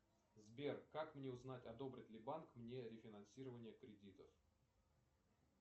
сбер как мне узнать одобрит ли банк мне рефинансирование кредитов